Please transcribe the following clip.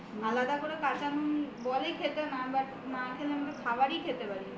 আলাদা করে কাঁচা নুন বলে খেতে মা but মাখলে আমি তো খাবারই খেতে পারি না